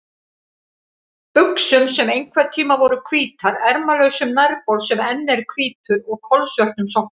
buxum sem einhverntíma voru hvítar, ermalausum nærbol sem enn er hvítur og kolsvörtum sokkum.